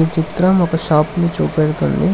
ఈ చిత్రం ఒక షాప్ ని చూపెడుతుంది